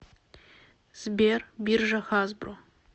сбер биржа хасбро